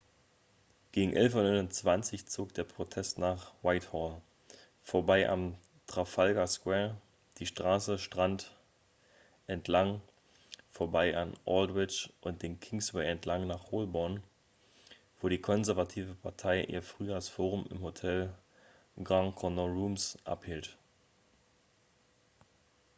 gegen 11.29 uhr zog der protest nach whitehall vorbei am trafalgar square die straße strand entlang vorbei an aldwych und den kingsway entlang nach holborn wo die konservative partei ihr frühjahrsforum im hotel grand connaught rooms abhielt